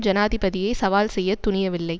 ஜனாதிபதியை சவால் செய்ய துணியவில்லை